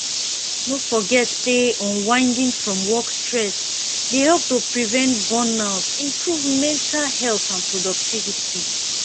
no forget say unwinding from work stress dey help to prevent burnout improve mental health and productivity